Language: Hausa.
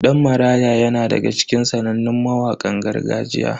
Dan Maraya yana daga cikin sanannun mawakan gargajiya.